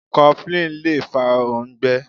Coflin Lè fa òǹgbé.